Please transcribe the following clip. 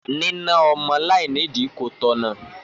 Nína ọmọ láìní ìdí kò tọ̀nà.